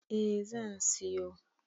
A zan siyo